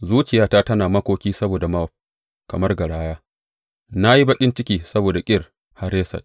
Zuciyata tana makoki saboda Mowab kamar garaya, na yi baƙin ciki saboda Kir Hareset.